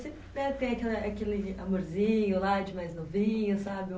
Aquela aquele amorzinho lá de mais novinho, sabe?